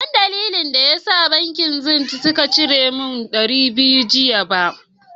Ban zan dalilin da ya da bankin " zenith " sun cire min dari biyu jiya ba.